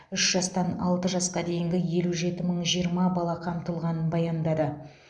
үш жастан алты жасқа дейінгі елу жеті мың жиырма бала қамтылғанын баяндады